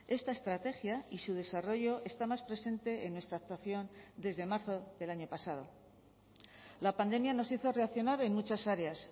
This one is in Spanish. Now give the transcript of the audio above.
esta estrategia y su desarrollo está más presente en nuestra actuación desde marzo del año pasado la pandemia nos hizo reaccionar en muchas áreas